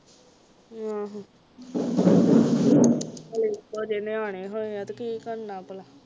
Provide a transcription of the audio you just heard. ਆਹੋ ਹਾਲੇ ਇੱਕੋ ਜਿਹੇ ਨਿਆਣੇ ਹੋਇਆ ਤੇ ਕੀ ਕਰਨਾ ਭਲਾ